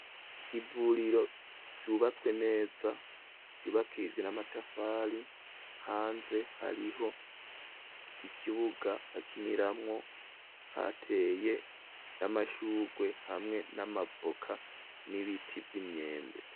Ivuriro, ryubatswe neza, ryubakishijwe n'amatafari; hanze hariho ikibuga, bakiniramwo, hateye n'amashurwe, hamwe n'amabvoka, n'ibiti vy'imyembe.